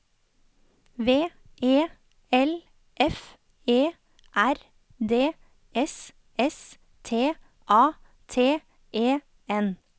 V E L F E R D S S T A T E N